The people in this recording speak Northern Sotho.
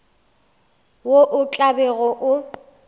wo o tla bego o